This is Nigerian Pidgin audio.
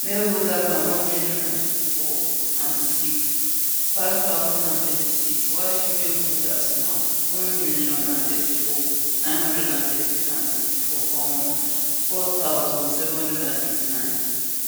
male voters na1034006 5036 while female voters na 1034964 um 4789